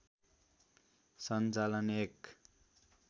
सञ्चालन एक